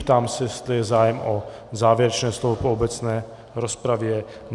Ptám se, jestli je zájem o závěrečné slovo po obecné rozpravě.